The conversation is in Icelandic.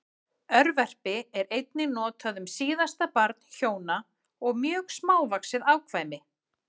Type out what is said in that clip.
Örverpi er einnig notað um síðasta barn hjóna og mjög smávaxið afkvæmi.